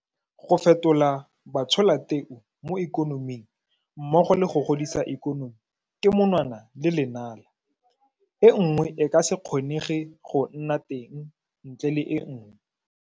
Go fetola batsholateu mo ikonoming mmogo le go godisa ikonomi ke monwana le lenala. E nngwe e ka se kgonege go nna teng ntle le e nngwe.